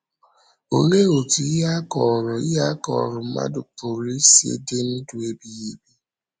Olee otú ihe a kọ̀rọ̀ ihe a kọ̀rọ̀ mmadụ pụrụ isi dị ndụ ebighị ebi?